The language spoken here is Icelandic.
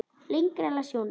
Lengra las Jón ekki.